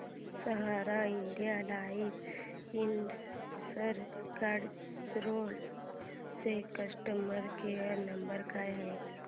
सहारा India life insurance Gadchiroli चा customer care number काय आहे